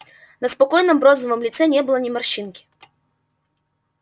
на спокойном бронзовом лице не было ни морщинки